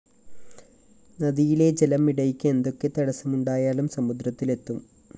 നദിയിലെ ജലം ഇടയ്ക്ക് എന്തൊക്കെ തടസ്സമുണ്ടായാലും സമുദ്രത്തില്‍ എത്തും